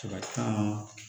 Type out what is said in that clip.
caman